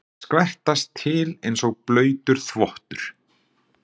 Skvettast til einsog blautur þvottur.